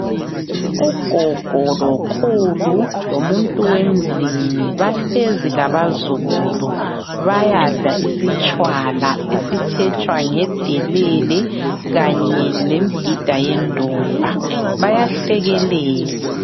Ugogo lokhulu lomuntu wemzini bahlezi labazukulu. Bayadla isitshwala esitshetshwa ngedelele kanye le mbida yendumba. Bayahlekelela.